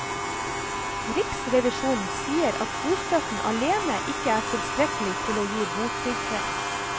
Riksrevisjonen sier at bostøtten alene ikke er tilstrekkelig til å gi botrygghet.